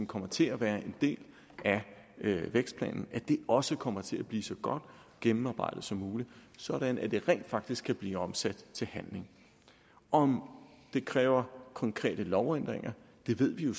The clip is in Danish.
kommer til at være en del af vækstplanen også kommer til at blive så godt gennemarbejdet som muligt sådan at det rent faktisk kan blive omsat til handling om det kræver konkrete lovændringer ved vi jo